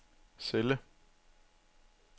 celle